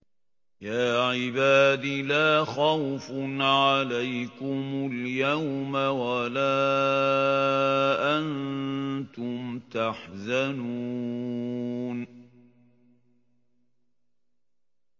يَا عِبَادِ لَا خَوْفٌ عَلَيْكُمُ الْيَوْمَ وَلَا أَنتُمْ تَحْزَنُونَ